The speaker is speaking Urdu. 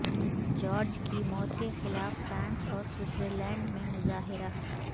جارج کی موت کے خلاف فرانس اور سوئٹزرلینڈمیں مظاہرہ